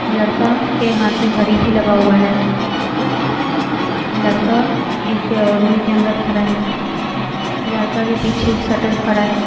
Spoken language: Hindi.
लड़का के हाथ में घड़ी भी लगा हुआ है लड़का एक रूम के अंदर खड़ा है लड़का के पीछे एक शटल खड़ा है।